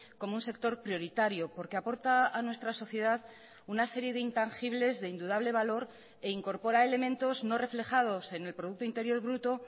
como un sector prioritario porque aporta a nuestra sociedad una serie de intangibles de indudable valor e incorpora elementos no reflejados en el producto interior bruto